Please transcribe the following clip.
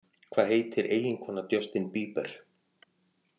Hvað heitir eiginkona Justin Bieber?